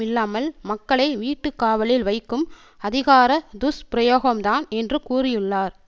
இல்லாமல் மக்களை வீட்டு காவலில் வைக்கும் அதிகாரத் துஷ்பிரயோகம் தான் என்று கூறியுள்ளார்